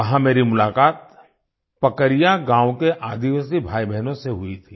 वहाँ मेरी मुलाकात पकरिया गाँव के आदिवासी भाईबहनों से हुई थी